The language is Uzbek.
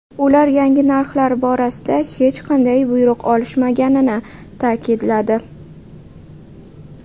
Ular yangi narxlar borasida hech qanday buyruq olishmaganini ta’kidladi .